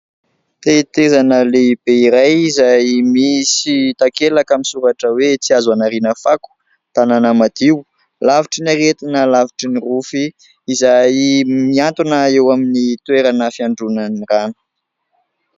Tetezana lehibe iray izay misy takelaka misoratra hoe " Tsy azo anariana fako: tanàna madio, lavitry ny aretina, lavitry ny rofy" izay miantona eo amin'ny toerana fiandronan'ny rano.